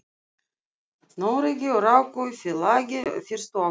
Noregi og ráku í félagi fyrstu árin.